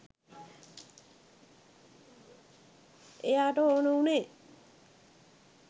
එයාට ඕන වුණේ